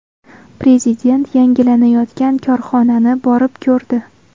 Prezident yangilanayotgan korxonani borib ko‘rdi.